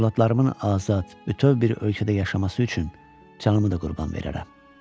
Övladlarımın azad, bütöv bir ölkədə yaşaması üçün canımı da qurban verərəm.